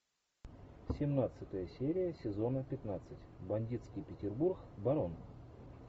семнадцатая серия сезона пятнадцать бандитский петербург барон